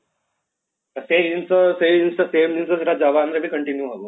ସେଇ ଜିନିଷ same ଜିନିଷ ସେଟା ଯବାନ ରେ ବି continue ହେବ